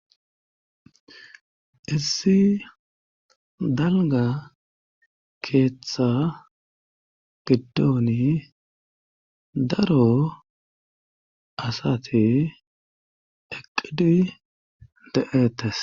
Issi dalgga keeththa giddonii daro asati eqqidi de'eettes